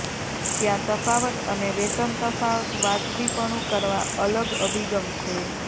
ત્યાં તફાવત અને વેતન તફાવત વાજબીપણું કરવા અલગ અભિગમ છે